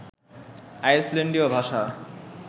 আইসল্যান্ডীয় ভাষা